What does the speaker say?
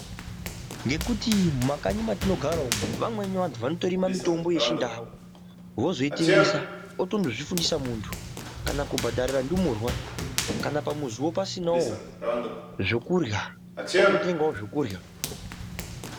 Nekuti mumakanyi matinogara umu vamweni vanthu vanotorima mitombo yechindau ozoitengesa otombizvifundisa munthu kana kubhadharira ndumurwo kana pamuzio pasinao zvekurya ototengao zvekurya.